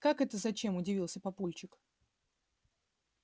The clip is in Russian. как это зачем удивился папульчик